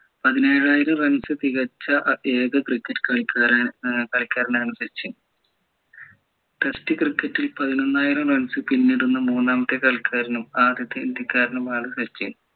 പതിനേഴായിരം runs തികച്ച ഏർ ഏക cricket കളിക്കാരന് ഏർ കളിക്കാരനാണ് സച്ചിൻ test cricket ൽ പതിനൊന്നായിരം runs പിന്നിടുന്ന മൂന്നാമത്തെ കളിക്കാരനും ആദ്യത്തെ ഇന്ത്യക്കാരനും ആണ് സച്ചിൻ